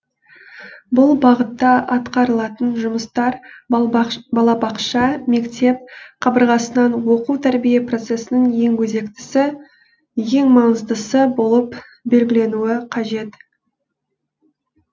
бұл бағытта атқарылатын жұмыстар балабақша мектеп қабырғасынан оқу тәрбие процесінің ең өзектісі ең маңыздысы болып белгіленуі қажет